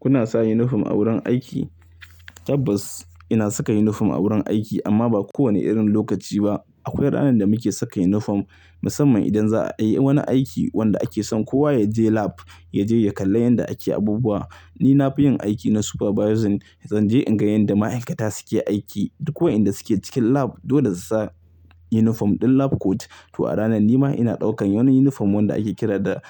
Kuna sa yunifom a wurin aiki? Tabbas ina saka yunifom a wurin aiki amma ba kowane irin lokaci ba. Akwai ranar da muke saka yunifom musamman idan za a yi wani aiki wanda ake son kowa ya je lab, ya je ya kalla yanda ake abubuwa. Ni nafi yin aiki na supervising, zan je in ga yanda ma'aikata suke aiki duk ko wayanda suke cikin lab. Dole su sa yunifom ɗin lab coat. To a ranan nima ina ɗaukan wani yunifom wanda ake kira da,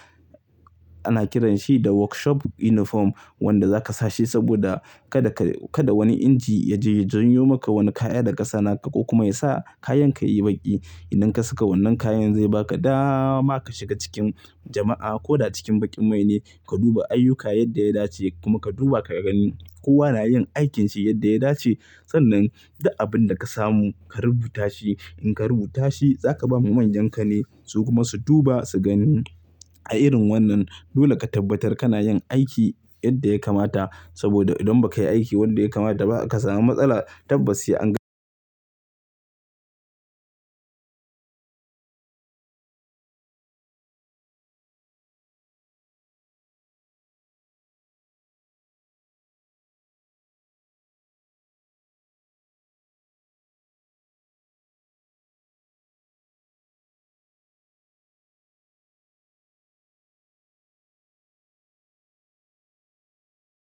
ana kiranshi da workshop yunifom wanda zaka sa shi saboda kada ka, kada wani inji ya je ya janyo maka wani kaya daga sana'a ka kuma ya sa kayan ka yi baƙi. Idan ka saka wannan kayan zai baka dama ka shiga cikin jama'a ko da cikin baƙin mai ne. Ka duba ayyuka yadda ya dace kuma ka duba ka gani kowa na yin aikin shi yadda ya dace. Sannan duk abin da ka samu ka rubuta shi. In ka rubuta shi zaka ba ma manyanka ne su kuma su duba su gani. A irin wannan dole ka tabbatar kana yin aiki yadda ya kamata saboda idan ba ka yi aiki wanda ya kamata ba aka samu matsala tabbas sai an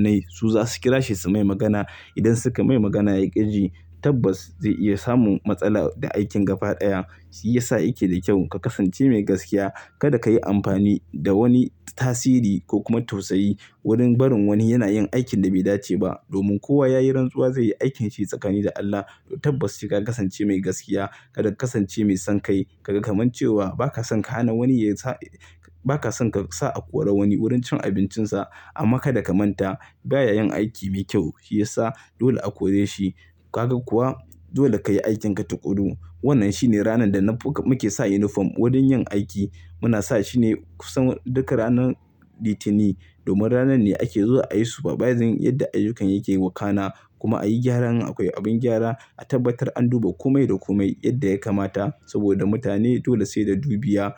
ne. Su za su kira shi su mai magana. Idan suka mai magana ya ƙi ji tabbas zai iya samun matsala da aikin gaba ɗaya. Shi ya sa yake da kyau ka kasance mai gaskiya. Kada ka yi amfani da wani tasiri ko kuma tausayi wurin barin wani yana yin aikin da bai dace ba. Domin kowa ya yi rantsuwa zai yi aikin shi tsakani da Allah. To tabbas sai ka kasance mai gaskiya. Kada ka kasance mai son kai. Ka ga kaman cewa ba ka son ka hana wani ya sa, ba ka son ka sa a kore wani wurin cin abincinsa. Amma kada ka manta baya yin aiki mi kyau. Shi ya sa dole a kore shi. Kaga kuwa? Dole ka yi aikinka tukuru. Wannan shine ranar da na fo, muke sa yunifom wurin yin aiki. Muna sa shine kusan duka ranan litini domin ranar ne ake zuwa ayi supervising yadda ayyukan yake wakana kuma ayi gyara in akwai abin gyara. A tabbatar an duba kome da kome yadda ya kamata saboda mutane dole sai da dubiya.